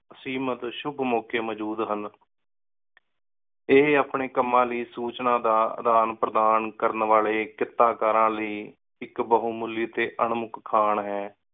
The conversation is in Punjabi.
ਸੀਮਤ ਸ਼ੁਕ ਮੌਕੇ ਮੋਜੋੜ ਸਨ ਏ ਆਪਣੇ ਕੰਮਾ ਲੈ ਸੂਚਨਾ ਦਾ ਆਦਾਨ ਪਰਧਾਨ ਕਰਨ ਵਾਲੇ ਕੀਤਾ ਕਾਰਾਂ ਲੈ ਇਕ ਬਹੁਮੁਲੀ ਟੀ ਅਨ੍ਮੁਖ ਖਾਣ ਹੈ।